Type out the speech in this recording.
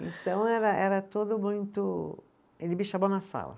Então era era tudo muito, ele me chamou na sala.